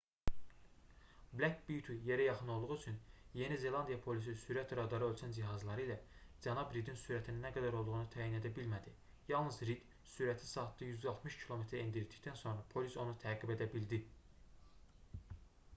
black beauty yerə yaxın olduğu üçün yeni zelandiya polisi sürət radarı ölçən cihazları ilə cənab ridin sürətinin nə qədər olduğunu təyin edə bilmədi yalnız rid sürəti saatda 160 km-ə endirdikdən sonra polis onu təqib edə bildi